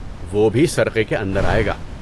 وہ بھی سرقے کے اندر آئے گا۔